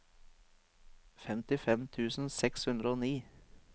femtifem tusen seks hundre og ni